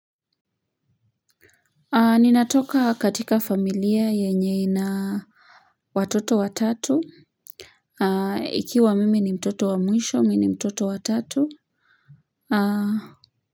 Ninatoka katika familia yenye ina watoto wa tatu. Ikiwa mimi ni mtoto wa mwisho, mimi ni mtoto wa tatu.